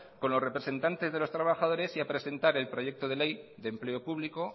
con los representantes de los trabajadores y a presentar el proyecto de ley de empleo público